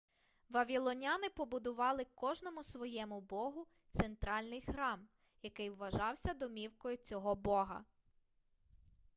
вавілоняни побудували кожному своєму богу центральний храм який вважався домівкою цього бога